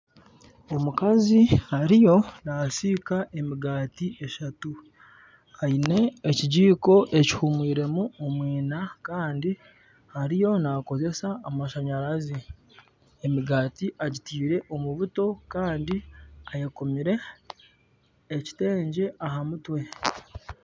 Omukazi ariyo nasiika emigaati eshatu aine ekijiko ekifuumwiremu omwiina Kandi ariyo nakozesa amashanyarazi emigaati agitiire omu buto Kandi ayekomire ekitengye aha mutwe